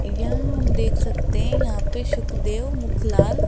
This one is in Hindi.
यहां हम देख सकते हैं यहां पे सुखदेव मुखलाल--